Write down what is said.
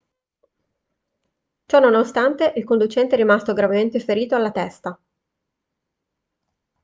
ciò nonostante il conducente è rimasto gravemente ferito alla testa